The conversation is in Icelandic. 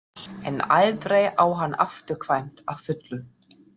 En aldrei á hann afturkvæmt að fullu.